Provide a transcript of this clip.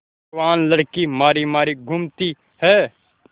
जवान लड़की मारी मारी घूमती है